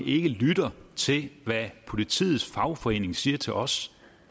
ikke lytter til hvad politiets fagforening siger til os